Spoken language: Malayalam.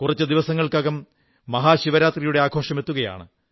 കുറച്ചു ദിവസങ്ങൾക്കകം മഹാശിവരാത്രിയുടെ ആഘോഷം എത്തുകയാണ്